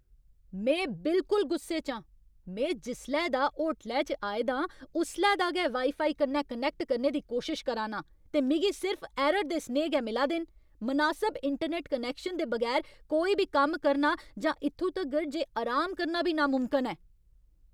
में बिलकुल गुस्से च आं! में जिसलै दा होटलै च आए दा आं उसले दा गै वाई फाई कन्नै कनैक्ट करने दी कोशश करा ना आं, ते मिगी सिर्फ ऐरर दे सनेहे गै मिला दे न। मनासब इंटरनैट्ट कनैक्शन दे बगैर कोई बी कम्म करना जां इत्थूं तगर जे अराम करना बी नामुमकन ऐ।